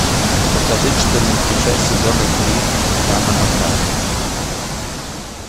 покажи четырнадцатую часть сезона три ханна монтана